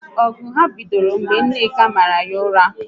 Ọgụ ahụ bidoro mgbe Nneka mara ya ụra